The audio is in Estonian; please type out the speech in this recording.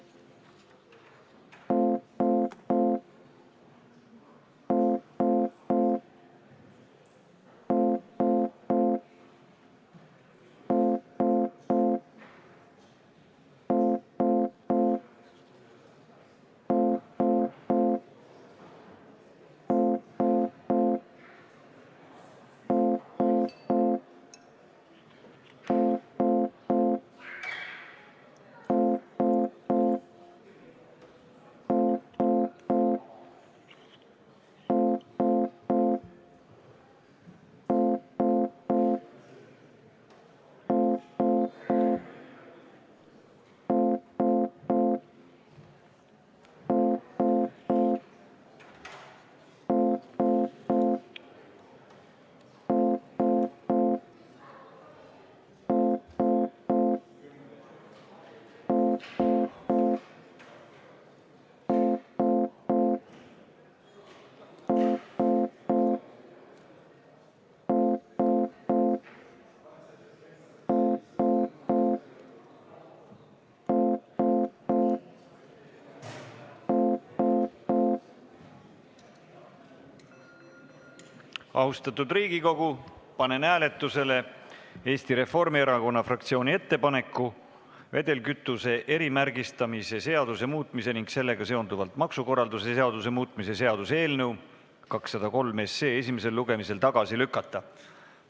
Austatud Riigikogu, panen hääletusele Eesti Reformierakonna fraktsiooni ettepaneku vedelkütuse erimärgistamise seaduse muutmise ning sellega seonduvalt maksukorralduse seaduse muutmise seaduse eelnõu 203 esimesel lugemisel tagasi lükata.